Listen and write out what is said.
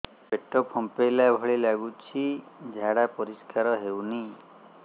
ପେଟ ଫମ୍ପେଇଲା ଭଳି ଲାଗୁଛି ଝାଡା ପରିସ୍କାର ହେଉନି